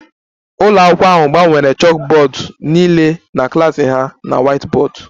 Ụlọ akwụkwọ ahụ gbanwere chalkboards niile na klas ha na whiteboards